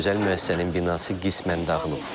Özəl müəssisənin binası qismən dağılıb.